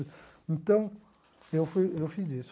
Então, eu fui eu fiz isso.